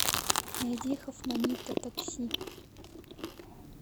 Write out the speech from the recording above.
найди хофманита такси